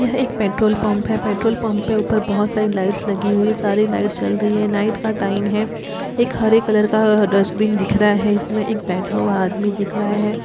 यह एक petrol pump है। पेट्रोल पंप पे ऊपर बहोत सारी लाइटस लगी हुई हैं। सारी लाइट जल रही है नाईट का टाइम है एक हरे कलर का डस्टबिन दिख रहा है इसमें एक बैठा हुआ आदमी दिख रहा है।